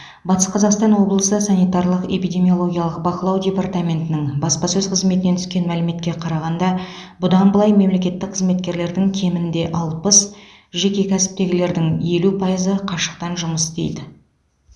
батыс қазақстан облысы санитарлық эпидемиологиялық бақылау департаментінің баспасөз қызметінен түскен мәліметке қарағанда бұдан былай мемлекеттік қызметкерлердің кемінде алпыс жеке кәсіптегілердің елу пайызы қашықтан жұмыс істейді